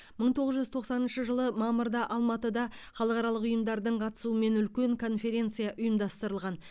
мың тоғыз жүз тоқсаныншы жылы мамырда алматыда халықаралық ұйымдардың қатысуымен үлкен конференция ұйымдастырылған